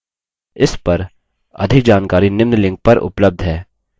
इस पर अधिक जानकारी निम्न लिंक पर उपलब्ध है